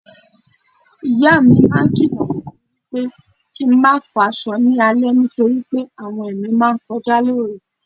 Ìyámi máa ń kìlọ̀ fúnmi wípé kín n máa fọ aṣọ ni alẹ́ nítorí pé àwọn ẹ̀mí máa ńkọjá lóru.